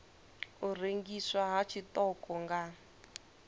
u rengiswa ha tshiṱoko nga